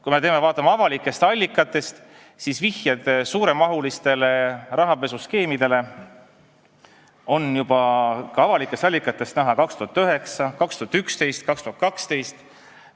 Kui me vaatame avalikke allikaid, siis näeme, et vihjeid suuremahulistele rahapesuskeemidele oli avalikes allikates näha juba 2009, 2011, 2012.